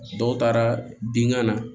Dɔw taara bin ga na